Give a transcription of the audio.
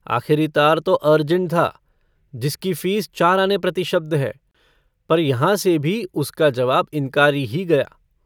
आखिरी तार तो अर्जेंट था जिसकी फ़ीस चार आने प्रति शब्द है। पर यहाँ से भी उसका जवाब इन्कारी ही गया।